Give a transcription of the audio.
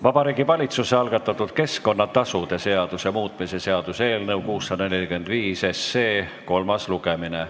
Vabariigi Valitsuse algatatud keskkonnatasude seaduse muutmise seaduse eelnõu 645 kolmas lugemine.